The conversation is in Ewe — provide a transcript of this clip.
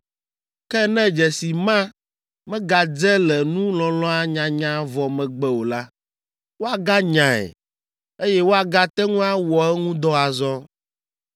Ke ne dzesi ma megadze le nu lɔlɔ̃a nyanya vɔ megbe o la, woaganyae, eye woagate ŋu awɔ eŋu dɔ azɔ.”